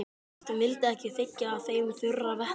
Hvort hún vildi ekki þiggja af þeim þurra vettlinga.